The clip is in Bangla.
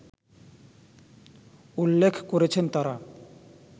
উল্লেখ করেছেন তারা